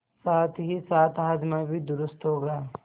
साथहीसाथ हाजमा भी दुरूस्त होगा